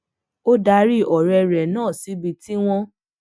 ó darí òré rè náà síbi tí wón